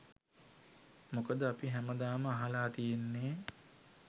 මොකද අපි හැමදාම අහලා තියෙන්නේ